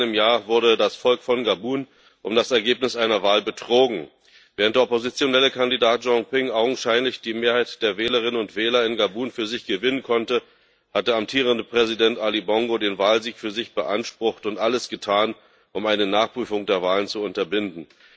Vor einem Jahr wurde das Volk von Gabun um das Ergebnis einer Wahl betrogen. Während der oppositionelle Kandidat Jean Ping augenscheinlich die Mehrheit der Wählerinnen und Wähler in Gabun für sich gewinnen konnte, hat der amtierende Präsident Ali Bongo den Wahlsieg für sich beansprucht und alles getan, um eine Nachprüfung der Wahlen zu unterbinden.